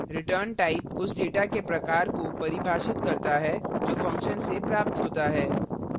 rettype उस data के प्रकार को परिभाषित करता है जो function से प्राप्त होता है